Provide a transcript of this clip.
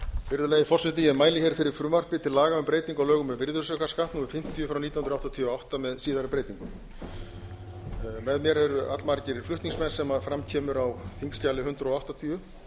virðulegi forseti ég mæli fyrir frumvarpi til laga um breytingu á lögum um virðisaukaskatt númer fimmtíu nítján hundruð áttatíu og átta með síðari breytingum með mér eru allmargir flutningsmenn sem fram kemur á þingskjali hundrað áttatíu